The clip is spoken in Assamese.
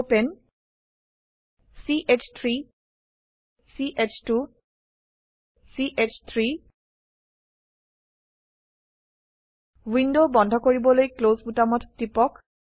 প্ৰপাণে ch3 ch2 চ3 উইন্ডো বন্ধ কৰিবলৈ ক্লছ বোতামত টিপক